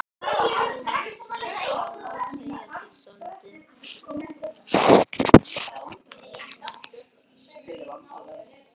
Thomas, ég verð að segja þér svolítið.